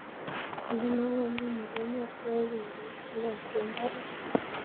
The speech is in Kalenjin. Ole mangune mugongiot ko yae ko uit keboishe karik